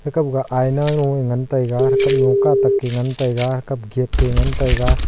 kamga aina loe ngan taiga athre kamlo katakke ngan taiga kapkette ngan taiga.